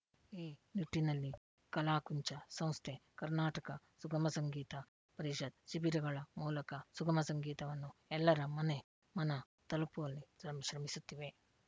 ಈ ನಿಟ್ಟಿನಲ್ಲಿ ಕಲಾಕುಂಚ ಸಂಸ್ಥೆ ಕರ್ನಾಟಕ ಸುಗಮ ಸಂಗೀತ ಪರಿಷತ್‌ ಶಿಬಿರಗಳ ಮೂಲಕ ಸುಗಮ ಸಂಗೀತವನ್ನು ಎಲ್ಲರ ಮನೆಮನ ತಲುಪುವಲ್ಲಿ ಶ್ರಮಿಸುತ್ತಿವೆ